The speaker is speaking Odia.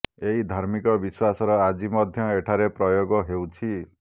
ଏହି ଧାର୍ମିକ ବିଶ୍ୱାସର ଆଜି ମଧ୍ୟ ଏଠାରେ ପ୍ରୟୋଗ ହେଉଛି